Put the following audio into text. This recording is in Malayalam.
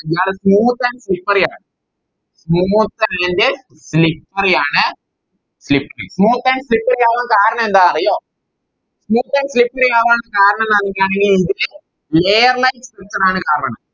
ഇയാള് Smooth and slippery ആണ് Smooth and slippery ആണ Smooth and slippery ആവാൻ കാരണമെന്തന് അറിയോ Smooth and slippery ആവാൻ കാരണം എന്താന്ന് പറഞ്ഞിറ്റാണെങ്കിൽ Layer light prison ആണ് കാരണം